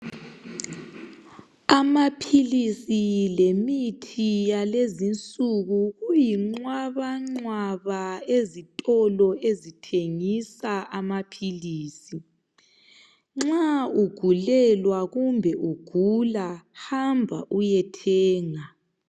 Amaphilisi lemithi yalezi nsuku kuyinqwabanqwaba ezitolo ezithengisa amaphilisi nxa ugulelwa kumbe ugula hamba uyethenga